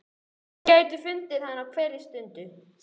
Þeir gætu fundið hana á hverri stundu.